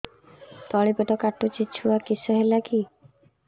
ତଳିପେଟ କାଟୁଚି ଛୁଆ କିଶ ହେଲା କି